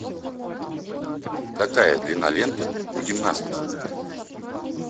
какая длина ленты у гимнасток